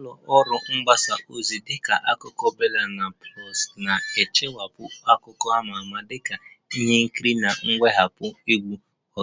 Ụlọ ọrụ mgbasa ozi dịka Akụkọ BellaNaija na Pulse na-ekpuchi akụkọ ama ama dịka ihe nkiri na ntọhapụ egwu,